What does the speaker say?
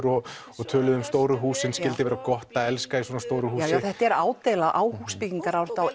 og og töluðu um stóru húsin skyldi vera gott að elska í svona stóru húsi þetta er ádeila á á